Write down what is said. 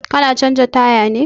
Ka na canza taya ne?